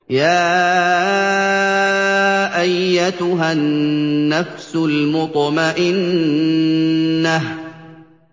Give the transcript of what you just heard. يَا أَيَّتُهَا النَّفْسُ الْمُطْمَئِنَّةُ